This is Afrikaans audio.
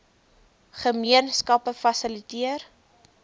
gemeen skappe fasiliteer